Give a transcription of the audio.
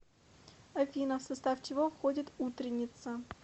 афина в состав чего входит утренница